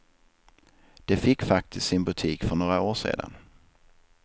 De fick faktiskt sin butik för några år sedan.